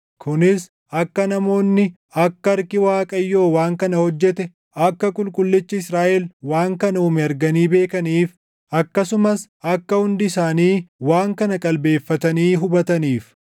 Kunis akka namoonni akka harki Waaqayyoo waan kana hojjete, akka Qulqullichi Israaʼel waan kana uume arganii beekaniif, akkasumas akka hundi isaanii waan kana qalbeeffatanii hubataniif.